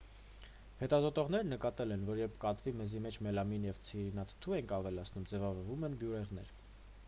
հետազոտողներն նկատել են որ երբ կատվի մեզի մեջ մելամին և ցիանուրաթթու են ավելացնում ձևավորվում են բյուրեղներ